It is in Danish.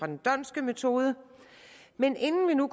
den dhondtske metode men inden vi nu